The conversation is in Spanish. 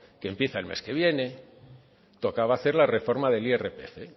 que empieza el mes que viene tocaba hacer la reforma del irpf